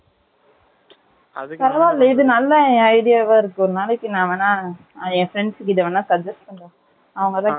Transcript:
பரவாயில்ல. இது, நல்ல, என் idea வா இருக்கும். ஒரு நாளைக்கு, நான் வேணா, என் friends கிட்ட வேணா, suggest பண்றேன். அவங்கதான், கேட்டுட்டே இருந்தாங்க